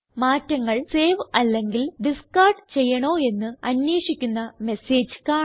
മാറ്റങ്ങൾ സേവ് അല്ലെങ്കിൽ ഡിസ്കാർഡ് ചെയ്യണോ എന്ന് അന്വേഷിക്കുന്ന മെസ്സേജ് കാണാം